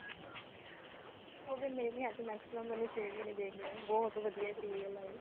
ਹੋ ਗਏ maximum ਮੈਨੂੰ ਛੇ ਮਹੀਨੇ ਦੇਖਦੀ ਨੂੰ ਬਹੁਤ ਵਧੀਆ serial ਐ ਇਹ